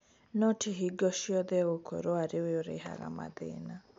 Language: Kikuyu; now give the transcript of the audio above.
No ti hingo ciothe egũkorũo arĩ we ũrehaga mathĩna.